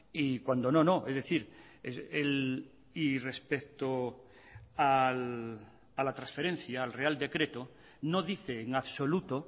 y cuando no no es decir y respecto a la transferencia al real decreto no dice en absoluto o